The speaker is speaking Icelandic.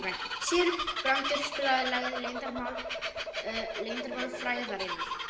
Sigurbrandur, spilaðu lagið „Leyndarmál frægðarinnar“.